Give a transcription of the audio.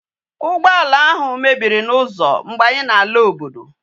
Ugboala ahu mebiri na uzo mgbe anyi na ala obodo